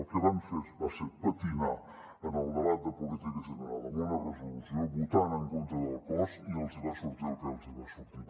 el que van fer va ser patinar en el debat de política general amb una resolució votant en contra del cos i els hi va sortir el que els hi va sortir